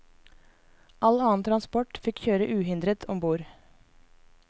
All annen transport fikk kjøre uhindret om bord.